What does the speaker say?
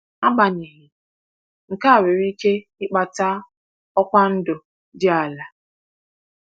Agbanyeghị, nke a nwere ike ịkpata ọkwa ndụ dị ala.